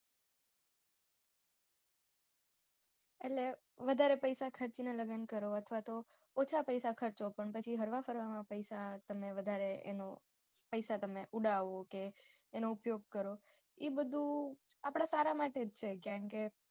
એટલે વધારે પૈસા ખર્ચીને લગ્ન કરો અથવા તો ઓછા પૈસા ખર્ચો પણ પછી હરવા ફરવામાં પૈસા વધારે તમે ઉડાવો કે એનો ઉપયોગ કરો એ બધું આપણા સારા માટે જ છે કેમ કે